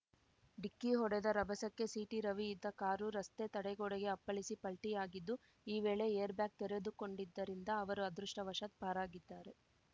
ಡಿಕ್ಕಿ ಹೊಡೆದ ರಭಸಕ್ಕೆ ಸಿಟಿರವಿ ಇದ್ದ ಕಾರು ರಸ್ತೆ ತಡೆಗೋಡೆಗೆ ಅಪ್ಪಳಿಸಿ ಪಲ್ಟಿಯಾಗಿದ್ದು ಈ ವೇಳೆ ಏರ್‌ಬ್ಯಾಗ್‌ ತೆರೆದುಕೊಂಡಿದ್ದರಿಂದ ಅವರು ಅದೃಷ್ಟವಶಾತ್‌ ಪಾರಾಗಿದ್ದಾರೆ